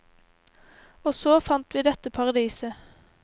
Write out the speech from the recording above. Og så fant vi dette paradiset.